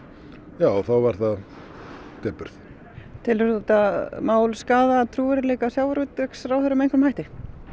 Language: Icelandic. já þá var það depurð telurðu þetta mál skaða trúverðugleika sjávarútvegsráðherra með einhverjum hætti